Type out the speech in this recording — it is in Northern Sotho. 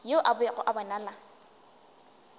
yo a bego a bonala